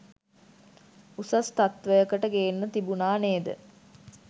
උසස් තත්වයකට ගේන්න තිබුණා නේද?